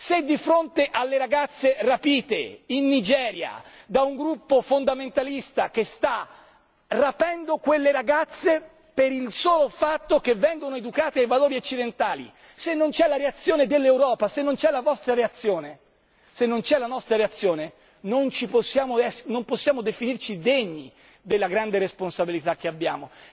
Se di fronte alle ragazze rapite in Nigeria da un gruppo fondamentalista che sta rapendo quelle ragazze per il solo fatto che vengono educate ai valori occidentali, se non c'è la reazione dell'Europa, se non c'è la vostra reazione, se non c'è la nostra reazione, non possiamo definirci degni della grande responsabilità che abbiamo.